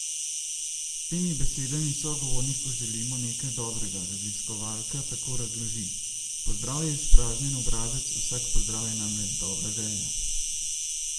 S temi besedami sogovorniku želimo nekaj dobrega, raziskovalka tako razloži: "Pozdrav je izpraznjen obrazec, vsak pozdrav je namreč dobra želja.